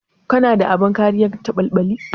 Kana da abin kariyar caɓalɓali?